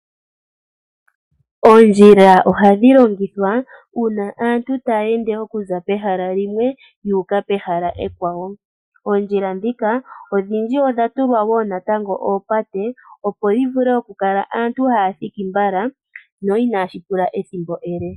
Oondjila ohadhi longithwa uuna aantu taya ende okuza pehala limwe yuuka pehala ekwawo. Oondjila ndhika odhindji odha tulwa wo natango oopate , opo yivule okukala aantu taya thiki mbala no ihashi pula ethimbo ele.